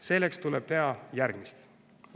Selleks tuleb teha järgmist.